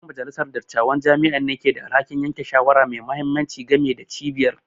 Yan majalisar dattawan jami'a ne ke da alhakin yanke shawara mai mahimmanci game da cibiyar